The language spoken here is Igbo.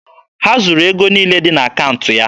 Ha zuru ego niile dị n'akaụntụ ya.